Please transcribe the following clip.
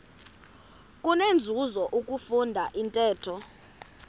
kunenzuzo ukufunda intetho